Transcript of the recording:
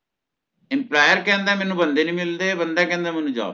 employer ਕਹਿੰਦਾ ਮੈਨੂੰ ਬੰਦੇ ਨਹੀਂ ਮਿਲਦੇ ਤੇ ਬੰਦਾ ਕਹਿੰਦਾ ਮੈਨੂੰ job ਨੀ